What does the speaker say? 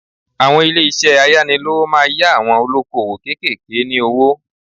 Àwọn ilé isẹ́ ayánilówó máa yá àwọn olóko òwò kékèké ní owó